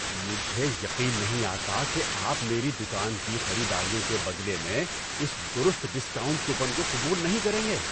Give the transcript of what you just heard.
مجھے یقین نہیں آتا کہ آپ میری دکان کی خریداریوں کے بدلے میں اس درست ڈسکاؤنٹ کوپن کو قبول نہیں کریں گے۔